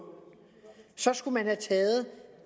skulle man have taget